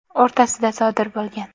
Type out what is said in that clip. o‘rtasida sodir bo‘lgan.